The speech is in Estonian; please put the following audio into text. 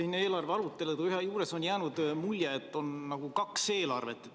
Siin eelarve arutelude juures on jäänud mulje, et on nagu kaks eelarvet.